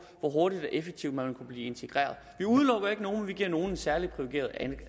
hvor hurtigt og effektivt man vil kunne blive integreret vi udelukker ikke nogen men vi giver nogle en særlig privilegeret